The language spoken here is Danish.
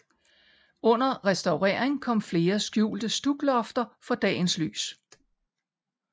Under restaureringen kom flere skjulte stuklofter for dagens lys